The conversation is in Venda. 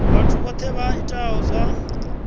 vhathu vhohe vha itaho zwa